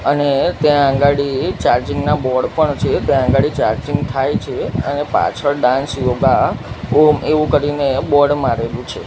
અને ત્યાં અગાડી ચાર્જિંગ ના બોર્ડ પણ છે ત્યાં અગાડી ચાર્જિંગ થાઈ છે અને પાછળ ડાન્સ યોગા ઓમ એવુ કરીને બોર્ડ મારેલુ છે.